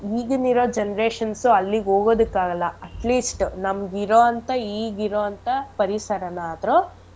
ಈಗಿನ್ ಇರೋ generations ಉ ಅಲ್ಲಿಗ್ ಹೋಗದ್ಕ್ ಆಗಲ್ಲ at least ನಮ್ಗೆ ಇರೋಂಥ ಈಗಿರೋಂಥ ಪರಿಸರನಾದ್ರು